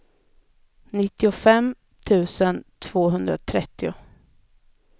nittiofem tusen tvåhundratrettio